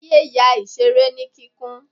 ta ya ìseré ní kikún